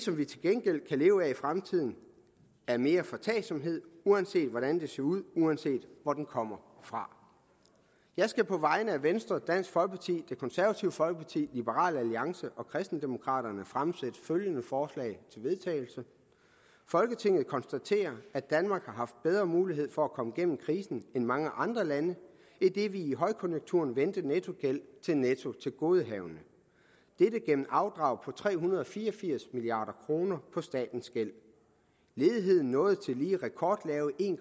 vi til gengæld kan leve af i fremtiden er mere foretagsomhed uanset hvordan det ser ud og uanset hvor den kommer fra jeg skal på vegne af venstre dansk folkeparti det konservative folkeparti liberal alliance og kristendemokraterne fremsætte følgende forslag til vedtagelse folketinget konstaterer at danmark har haft bedre mulighed for at komme gennem krisen end mange andre lande idet vi i højkonjunkturen vendte nettogæld til nettotilgodehavende dette gennem afdrag på tre hundrede og fire og firs milliard kroner på statens gæld ledigheden nåede tillige rekordlave en